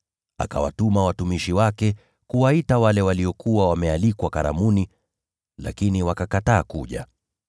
Akawatuma watumishi wake kuwaita wale waliokuwa wamealikwa karamuni, lakini wakakataa kuja.